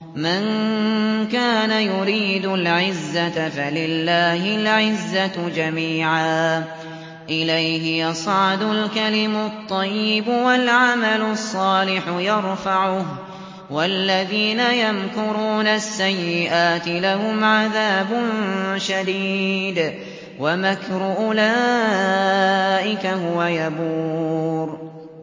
مَن كَانَ يُرِيدُ الْعِزَّةَ فَلِلَّهِ الْعِزَّةُ جَمِيعًا ۚ إِلَيْهِ يَصْعَدُ الْكَلِمُ الطَّيِّبُ وَالْعَمَلُ الصَّالِحُ يَرْفَعُهُ ۚ وَالَّذِينَ يَمْكُرُونَ السَّيِّئَاتِ لَهُمْ عَذَابٌ شَدِيدٌ ۖ وَمَكْرُ أُولَٰئِكَ هُوَ يَبُورُ